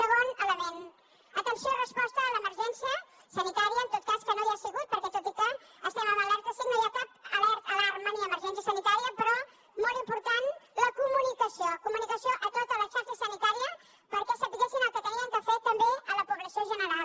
segon element atenció resposta a l’emergència sanitària en tot cas que no hi ha sigut perquè tot i que estem en alerta cinc no hi ha cap alarma ni emergència sanitària però molt important la comunicació comunicació a tota la xarxa sanitària perquè sabessin el que havien de fer també a la població general